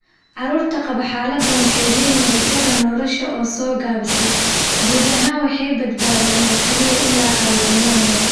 Carruurta qaba xaaladdan waxay leeyihiin rajada nolosha oo soo gaabisay, guud ahaan waxay badbaadaan oo keliya ilaa carruurnimada hore.